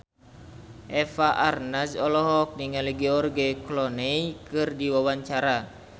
Eva Arnaz olohok ningali George Clooney keur diwawancara